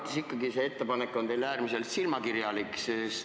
Minu arvates on see ettepanek teil ikkagi äärmiselt silmakirjalik.